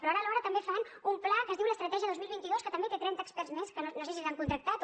però ara alhora també fan un pla que es diu l’estratègia dos mil vint dos que també té trenta experts més que no sé si s’han contractat o